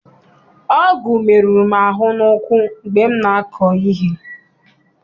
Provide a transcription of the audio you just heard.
Ọgụ meruru m ahụ n'ụkwụ mgbe m na-akọ ihe.